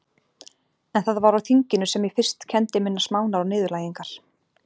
En það var á þinginu sem ég fyrst kenndi minnar smánar og niðurlægingar.